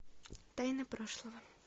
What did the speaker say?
тайна прошлого